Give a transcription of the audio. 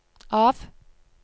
av